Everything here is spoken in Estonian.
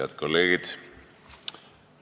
Head kolleegid!